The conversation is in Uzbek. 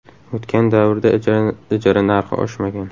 O‘tgan davrda ijara narxi oshmagan.